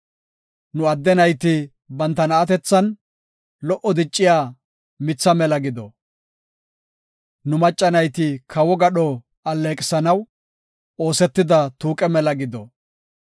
Nu adde nayti banta na7atethan, lo77o dicciya mitha mela gido. Nu macca nayti kawo gadho alleeqisanaw, oosetida tuuqe mela gido.